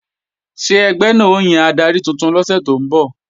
Ṣé ẹgbẹ́ náà ó yan adarí tuntun lọ́sẹ̀ tó ń bọ̀?